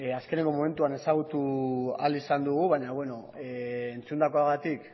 azkeneko momentuan ezagutu ahal izan dugu baina entzundakoagatik